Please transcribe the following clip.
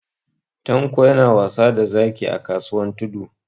Tanko yana wasa da zaki a kasuwan Tudu.